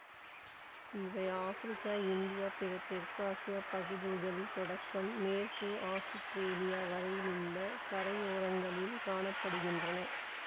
இவை Africa India பிற தெற்காசியப் பகுதிகள் தொடக்கம் மேற்கே ஆசுத்திரேலியா வரையுள்ள கரையோரங்களில் காண படுகின்றன